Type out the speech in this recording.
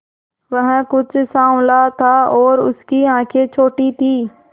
वह कुछ साँवला था और उसकी आंखें छोटी थीं